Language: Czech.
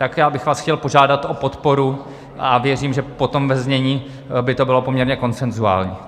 Tak já bych vás chtěl požádat o podporu a věřím, že potom ve znění by to bylo poměrně konsenzuální.